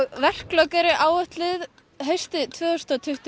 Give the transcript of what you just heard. verklok eru áætluð haustið tvö þúsund og tuttugu